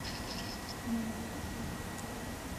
найди российский фильм